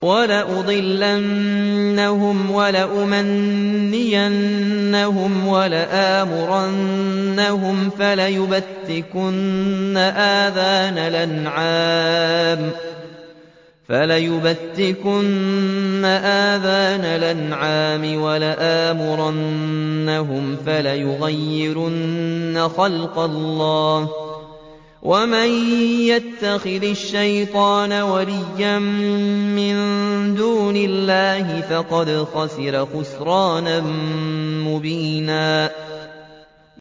وَلَأُضِلَّنَّهُمْ وَلَأُمَنِّيَنَّهُمْ وَلَآمُرَنَّهُمْ فَلَيُبَتِّكُنَّ آذَانَ الْأَنْعَامِ وَلَآمُرَنَّهُمْ فَلَيُغَيِّرُنَّ خَلْقَ اللَّهِ ۚ وَمَن يَتَّخِذِ الشَّيْطَانَ وَلِيًّا مِّن دُونِ اللَّهِ فَقَدْ خَسِرَ خُسْرَانًا مُّبِينًا